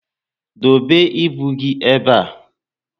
Dobe ibu gị ébé a